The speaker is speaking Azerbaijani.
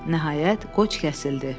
Nəhayət, qoç kəsildi.